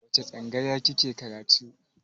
A wace tsangaya kike karatu?